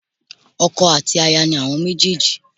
Ọkọ àti aya ni àwọn méjèjì